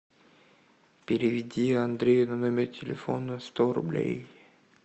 переведи андрею на номер телефона сто рублей